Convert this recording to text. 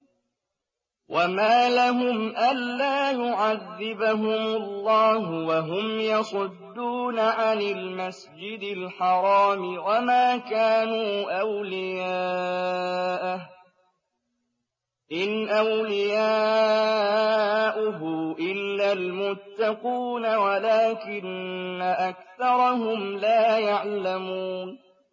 وَمَا لَهُمْ أَلَّا يُعَذِّبَهُمُ اللَّهُ وَهُمْ يَصُدُّونَ عَنِ الْمَسْجِدِ الْحَرَامِ وَمَا كَانُوا أَوْلِيَاءَهُ ۚ إِنْ أَوْلِيَاؤُهُ إِلَّا الْمُتَّقُونَ وَلَٰكِنَّ أَكْثَرَهُمْ لَا يَعْلَمُونَ